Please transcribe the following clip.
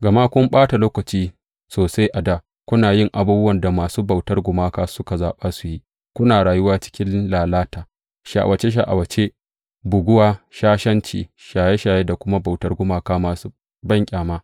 Gama kun ɓata lokaci sosai a dā kuna yin abubuwan da masu bauta gumaka suka zaɓa su yi, kuna rayuwa cikin lalata, sha’awace sha’awace, buguwa, shashanci, shaye shaye da kuma bautar gumaka masu banƙyama.